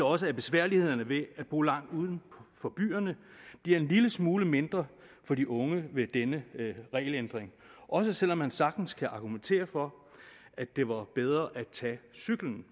også at besværlighederne ved at bo langt uden for byerne bliver en lille smule mindre for de unge med denne regelændring også selv om man sagtens kan argumentere for at det var bedre at tage cyklen